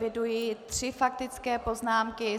Eviduji tři faktické poznámky.